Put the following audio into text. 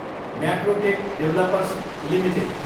Macrotech Developers Ltd